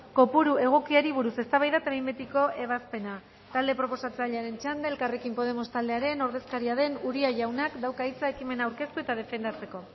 kopuru egokiari buruz eztabaida eta behin betiko ebazpena talde proposatzailearen txanda elkarrekin podemos taldearen ordezkaria den uria jaunak dauka hitza ekimen aurkeztu eta defendatzeko